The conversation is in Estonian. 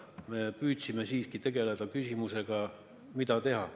Me püüdsime siiski tegeleda küsimusega, mida teha.